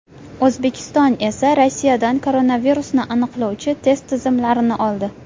O‘zbekiston esa Rossiyadan koronavirusni aniqlovchi test tizimlarini oldi .